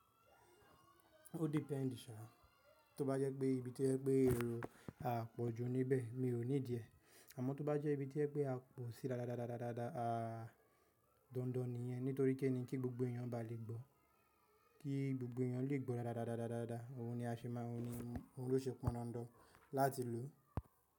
Ó depend, to bá jẹ́ pé ibi tí jẹ pé èrò a pọ̀ ju níbẹ̀, mi ò ní díẹ̀. Àmọ́ tó bá jẹ́ ibi tí ẹ pé a pò sí dáadáa, dandan nìyẹn nítorí kí ń ní kí gbogbo èèyàn bá le gbọ́, kí gbogbo èèyàn lè gbọ́ dáadáa, òhun ni a ṣe máa, òhun ló ṣe pọn dandan láti lò.